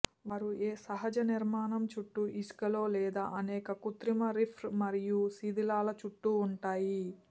వారు ఏ సహజ నిర్మాణం చుట్టూ ఇసుకలో లేదా అనేక కృత్రిమ రీఫ్స్ మరియు శిధిలాల చుట్టూ ఉంటాయి